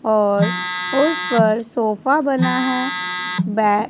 और उस पर सोफा बना है बै--